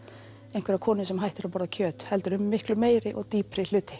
einhverja konu sem hættir að borða kjöt heldur um miklu meiri og dýpri hluti